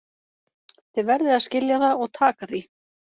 Þið verðið að skilja það og taka því.